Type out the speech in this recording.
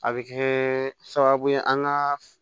A bɛ kɛ sababu ye an ka